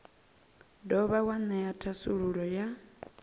dovha wa ṅea thasululo ya